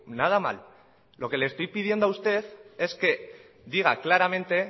nada mal lo que le estoy pidiendo a usted es que diga claramente